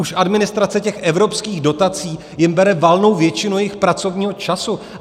Už administrace těch evropských dotací jim bere valnou většinu jejich pracovního času.